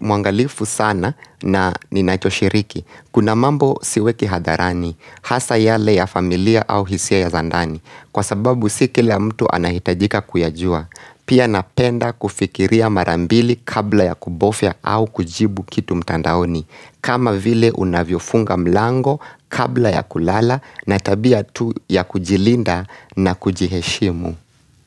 muangalifu sana na ninachoshiriki. Kuna mambo siweki hadharani, hasa yale ya familia au hisia ya zandani. Kwa sababu sikila mtu anahitajika kuyajua. Pia napenda kufikiria marambili kabla ya kubofya au kujibu kitu mtandaoni. Kama vile unavyofunga mlango kabla ya kulala na tabia tu ya kujilinda na kujiheshimu.